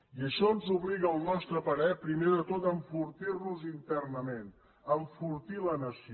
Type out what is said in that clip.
i això ens obliga al nostre parer primer de tot a enfortir nos internament a enfortir la nació